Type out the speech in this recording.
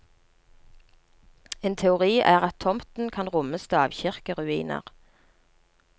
En teori er at tomten kan romme stavkirkeruiner.